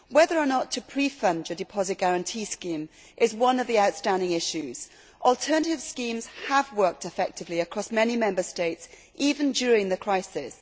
Whether or not to pre fund a deposit guarantee scheme is one of the outstanding issues. Alternative schemes have worked effectively across many Member States, even during the crisis.